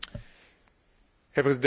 Herr Präsident, meine Kollegen!